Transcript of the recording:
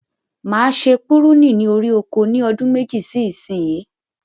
Ma se púrúnì ní orí oko ni ọdún méjì sí ìsìn yìí